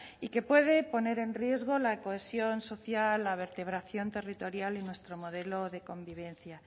y que puede poner en riesgo la cohesión social la vertebración territorial y nuestro modelo de convivencia